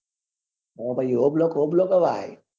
છે ભાઈ